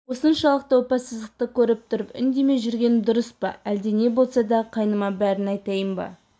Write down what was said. осыншалықты опасыздықты көріп тұрып үндемей жүргенім дұрыс па лде не болса да қайныма бәрін айтайын ба